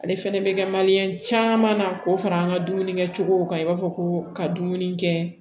Ale fɛnɛ bɛ kɛ caman na k'o fara an ka dumuni kɛcogow kan i b'a fɔ ko ka dumuni kɛ